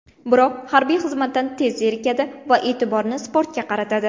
Biroq harbiy xizmatdan tez zerikadi va e’tiborni sportga qaratadi.